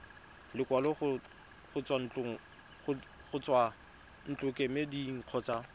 lekwalo go tswa ntlokemeding kgotsa